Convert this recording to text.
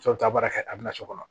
taa baara kɛ a bɛ na so kɔnɔ